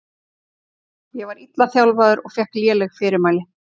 Ég var illa þjálfaður og fékk léleg fyrirmæli.